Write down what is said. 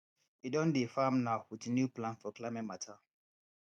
e don dey farm now with new plan for climate matter